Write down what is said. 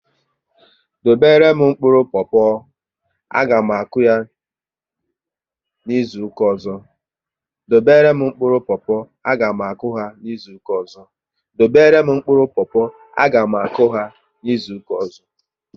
Dobere m mkpụrụ popo! A ga m akụ ha izuka ọzọ